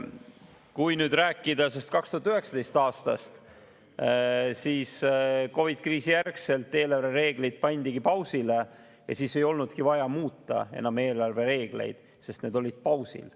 Kui nüüd rääkida 2019. aastast, siis COVID-kriisi järgselt eelarvereeglid pandi pausile, ja siis ei olnudki vaja eelarvereegleid enam muuta, sest need olid pausil.